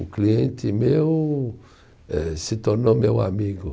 Um cliente meu eh, se tornou meu amigo.